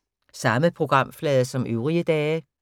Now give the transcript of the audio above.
Samme programflade som øvrige dage